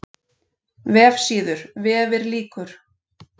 VEFSÍÐUR, VEFIR LÝKUR